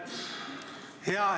Aitäh!